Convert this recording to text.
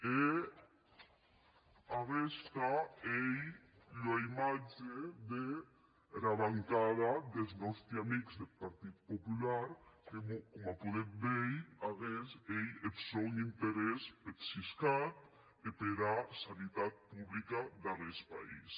e aguesta ei ua imatge dera bancada des nòsti amics deth partit popular que coma podetz veir aguest ei eth son interès peth siscat e pera sanitat publica d’aguest país